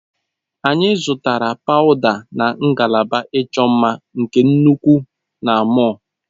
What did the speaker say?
Anyị zụtara pawuda na ngalaba ịchọ mma nke nnukwu na mọll.